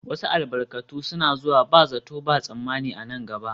Wasu albarkatai suna zuwa ba zato ba tsammani a nan gaba